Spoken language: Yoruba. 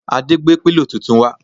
Ade gbé pílò tuntun wá